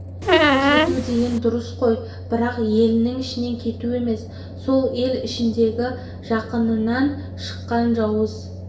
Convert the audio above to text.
кету деген дұрыс қой бірақ елінің ішінен кету емес сол ел ішіндегі жақыныңнан шыққан жауыз